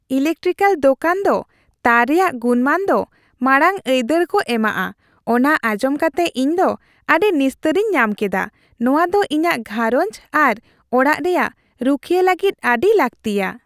Electrical ᱫᱳᱠᱟᱱ ᱫᱚ ᱛᱟᱨ ᱨᱮᱭᱟᱜ ᱜᱩᱱᱢᱟᱱ ᱫᱚ ᱢᱟᱲᱟᱜᱼᱟᱹᱭᱫᱟᱹᱨ ᱠᱚ ᱮᱢᱟᱜᱼᱟ ᱚᱱᱟ ᱟᱸᱡᱚᱢᱠᱟᱛᱮ ᱤᱧ ᱫᱚ ᱟᱹᱰᱤ ᱱᱤᱥᱛᱟᱹᱨᱤᱧ ᱧᱟᱢ ᱠᱮᱫᱟ ᱾ᱱᱚᱶᱟ ᱫᱚ ᱤᱧᱟᱹᱜ ᱜᱷᱟᱨᱚᱸᱡᱽ ᱟᱨ ᱚᱲᱟᱜ ᱨᱮᱭᱟᱜ ᱨᱩᱠᱷᱤᱭᱟᱹ ᱞᱟᱹᱜᱤᱫ ᱟᱹᱰᱤ ᱞᱟᱹᱠᱛᱤᱭᱟ ᱾